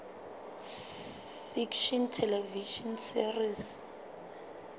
fiction television series